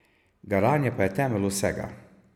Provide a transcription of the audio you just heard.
Garanje pa je temelj vsega.